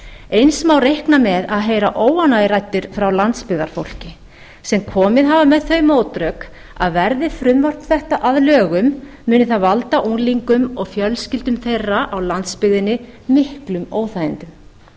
eins má reikna með að heyra óánægjuraddir frá landsbyggðarfólki sem komið hafa með þau mótrök að verði frumvarp þetta að lögum muni það valda unglingum og fjölskyldum þeirra á landsbyggðinni miklum óþægindum